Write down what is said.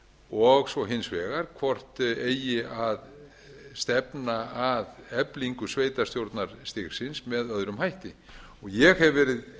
og svo hins vegar hvort eigi að stefna að eflingu sveitarstjórnarstigsins með öðrum hætti ég hef verið